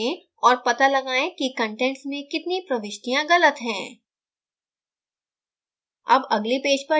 कृपया यहाँ रोकें और पता लगायें कि contents में कितनी प्रविष्टियाँ गलत हैं